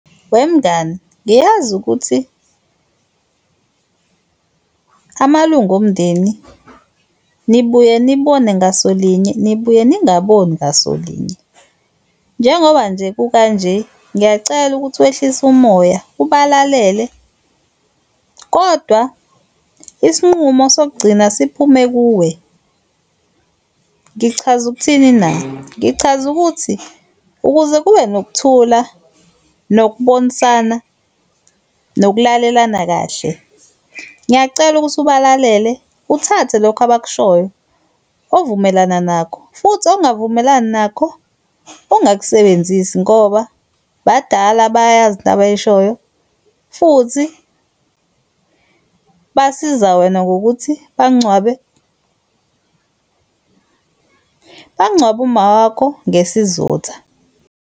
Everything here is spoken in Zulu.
Wemngani uyazi ukuthi amalunga omndeni nibuye nibone ngaso linye, nibuye ningaboni ngaso linye. Njengoba nje kukanje ngiyacela ukuthi wehlise umoya ubalalele kodwa isinqumo sokugcina siphume kuwe. Ngichaza ukuthini na? Ngichaza ukuthi ukuze kube nokuthula, nokubonisana nokulalelana kahle, ngiyacela ukuthi ubalalele uthathe lokho abakushoyo ovumelana nakho futhi ongavumelani nakho ungakusebenzisi ngoba badala bayayazi into abayishoyo, futhi basiza wena ngokuthi bangcwabe, bangcwabe umawakho ngesizotha.